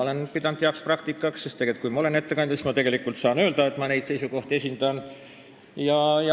Olen seda pidanud heaks praktikaks, sest kui ma olen ettekandja, siis ma saan öelda, et ma neid seisukohti esindan.